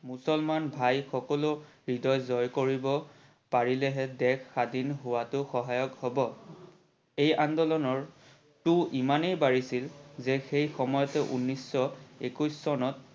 মুছলমান ভাই সকলৰো হৃদয় জয় কৰিব পাৰিলেহে দেশ স্বাধীন হোৱাটো সহায়ক হব। এই আন্দোলনৰটো ইমানই বাহিছিল যে সেই সময়তে ঊনৈশ একৈশ চনত